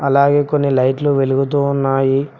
అలాగే కొన్ని లైట్లు వెలుగుతూ ఉన్నాయి.